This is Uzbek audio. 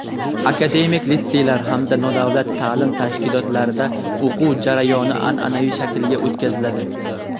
akademik litseylar hamda nodavlat taʼlim tashkilotlarida o‘quv jarayoni anʼanaviy shaklga o‘tkaziladi.